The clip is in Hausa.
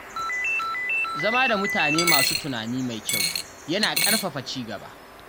Zama da mutane masu tunani mai kyau yana ƙarfafa ci gaba.